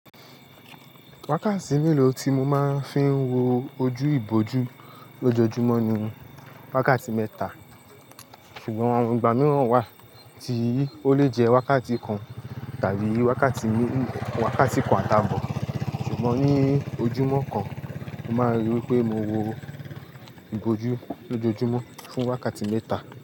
Wákàtí mélòó tí mo máa ń fi wo ojú ìbòjú lójoojúmọ́ ni wákàtí mẹ́ta, ṣùgbọ́n àwọn ìgbà mìíràn wà tí ó lè jẹ́ wákàtí kan tàbí wákàtí mé-- wákàtí kan àtabo. Ṣùgbọ́n ní ojúmọ́ kan, mo máa ríi pé mo wo ìbòjú lójoojúmọ́ fún wákàtí mẹ́ta.